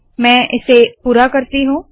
मैं इसे पूरा करती हूँ